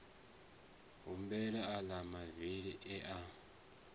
humbula aḽa mavili e a